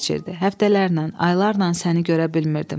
Həftələrlə, aylarla səni görə bilmirdim.